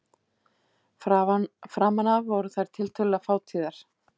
Framan af voru þær tiltölulega fátíðar.